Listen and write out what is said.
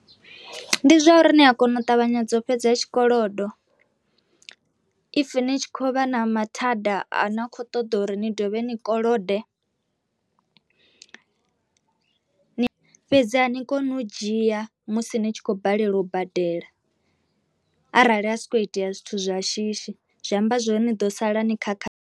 Ndi zwa uri ni a kona u ṱavhanyedza u fhedza tshikolodo if ni tshi kho vha na mathada a na kho ṱoḓa uri ni dovhe ni kolode ni fhedzi a ni koni u dzhia musi ni tshi khou balelwa u badela, arali ha sokou itea zwithu zwa shishi zwi amba zwori ni ḓo sala ni khakha.